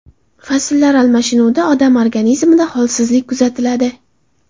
Fasllar almashinuvida odam organizmida holsizlanish kuzatiladi.